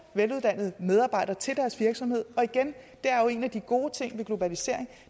veluddannede medarbejdere til deres virksomhed og igen det er jo en af de gode ting ved globalisering